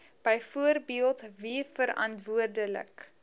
byvoorbeeld wie verantwoordelik